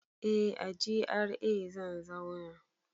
Eh a GRA zan zauna